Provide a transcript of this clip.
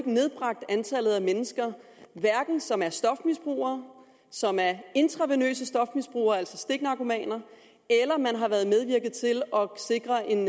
nedbragt antallet af mennesker som er stofmisbrugere som er intravenøse stofmisbrugere altså stiknarkomaner eller medvirket til at sikre en